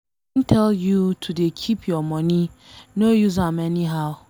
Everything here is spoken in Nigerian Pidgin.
I don tell you to dey keep your money, no use am anyhow.